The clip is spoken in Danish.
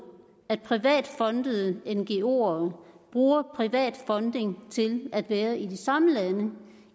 at privat fondede ngoer bruger privat fonding til at være i de samme lande